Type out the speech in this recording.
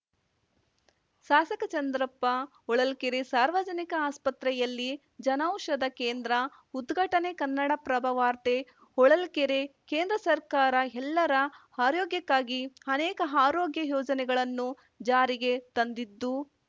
ಶಾಸಕ ಚಂದ್ರಪ್ಪ ಹೊಳಲ್ಕೆರೆ ಸಾರ್ವಜನಿಕ ಆಸ್ಪತ್ರೆಯಲ್ಲಿ ಜನೌಷಧ ಕೇಂದ್ರ ಉದ್ಘಾಟನೆ ಕನ್ನಡಪ್ರಭ ವಾರ್ತೆ ಹೊಳಲ್ಕೆರೆ ಕೇಂದ್ರ ಸರ್ಕಾರ ಎಲ್ಲರ ಆರೋಗ್ಯಕ್ಕಾಗಿ ಆನೇಕ ಆರೋಗ್ಯ ಯೋಜನೆಗಳನ್ನು ಜಾರಿಗೆ ತಂದಿದ್ದು